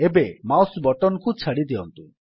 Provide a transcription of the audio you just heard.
ଏବେ mouse button କୁ ଛାଡ଼ିଦିଅନ୍ତୁ